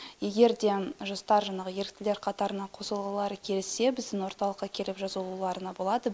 егер де жастар жаңағы еріктілер қатарына қосылғылары келсе біздің орталыққа келіп жазылуларына болады